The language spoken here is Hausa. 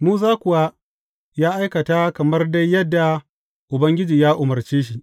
Musa kuwa ya aikata kamar dai yadda Ubangiji ya umarce shi.